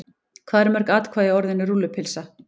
Hvað eru mörg atkvæði í orðinu rúllupylsa?